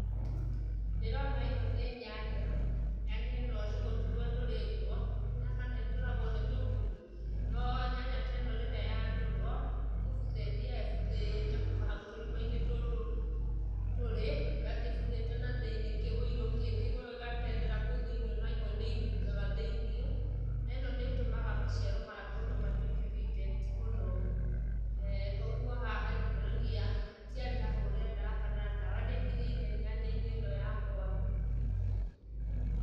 Ndĩrona ĩno nĩ nyanya. Nyanya ĩno nĩ gũtũrwo ĩtũrĩtwo, ndimenyaga kana ĩtũragwo nĩ tũgunyũ, no nyanya ta ĩno rĩrĩa yatũrwo, nĩ kũbutha ĩthiaga ĩbuthĩte kuma hau tũrima-inĩ tũtũ tũrĩ, ĩgathiĩ ĩbuthĩte thĩiniĩ kĩũirũ kĩngĩ gĩgatendera kũu thĩiniĩ o na imwe nĩ inungaga thĩiniĩ na ĩno nĩ ĩtũmaga maciaro ma mũndũ matuĩke reject mũno.[Eh]Kwoguo haha nĩ kuonania hatiarĩ hahũre ndawa kana ndawa ndĩakinyĩire nyanya-inĩ ĩno yakwa.